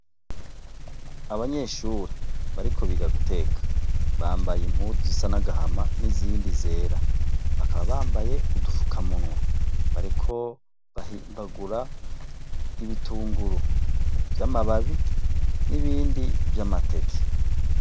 Abanyeshure bariko biga guteka, bambaye impuzu zisa n'agahama n'izindi zera, bakaba bambaye n'udufukamunwa. Bariko bahimbagura ibitunguru vy'amababi n'ibindi vy'amateke.